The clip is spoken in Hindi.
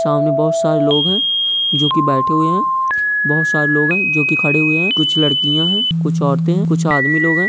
सामने बहुत सारे लोग हैं जो की बैठे हुए हैं बहुत सारे लोग हैं जो की खड़े हुए हैं कुछ लड़कियाँ हैं कुछ औरत हैं कुछ आदमी लोग हैं।